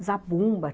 Zabumba.